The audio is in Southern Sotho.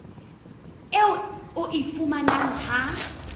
eo o e fumanang ha